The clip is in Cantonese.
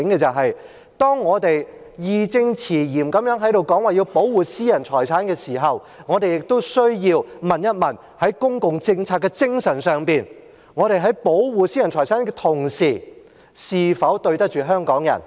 但是，當我們義正詞嚴地說要保護私人財產時，我們亦需要問問，在公共政策的精神上，我們在保護私人財產的同時，是否對得起香港人？